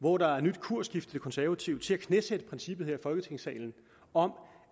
hvor der er nyt kursskifte i de konservative til at knæsætte princippet her i folketingssalen om